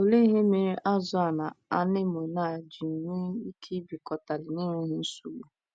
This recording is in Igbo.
Olee ihe mere azụ̀ a na anemone a ji nwee ike ibikọtali n’enweghị nsogbu?